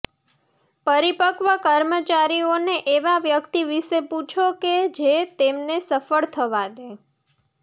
પરિપક્વ કર્મચારીઓને એવા વ્યક્તિ વિશે પૂછો કે જે તેમને સફળ થવા દે